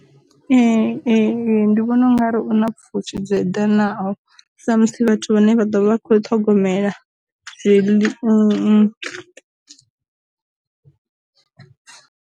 Ee e e ndi vhona ungari u na pfushi dza eḓenaho, sa muthu vhathu vhane vha ḓovha vha kho ṱhogomela zwiḽi .